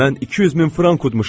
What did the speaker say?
Mən 200 min frank udmuşam!